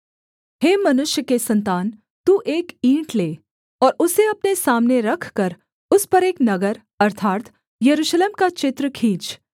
हे मनुष्य के सन्तान तू एक ईंट ले और उसे अपने सामने रखकर उस पर एक नगर अर्थात् यरूशलेम का चित्र खींच